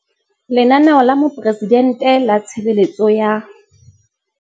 Lenaneo la Moporesidente la Tshebeletso ya.